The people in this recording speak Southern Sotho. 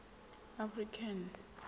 african